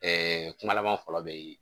Ɛɛ kuma laban fɔlɔ bɛ ye